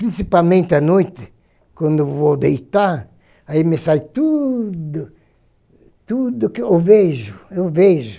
Principalmente à noite, quando eu vou deitar, aí me sai tudo, tudo que eu vejo, eu vejo.